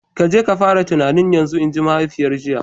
Ka je ka fara tunani yanzu! Inji mahaifiyar jiya.